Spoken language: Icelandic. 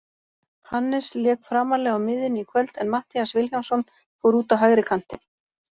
Hannes lék framarlega á miðjunni í kvöld en Matthías Vilhjálmsson fór út á hægri kantinn.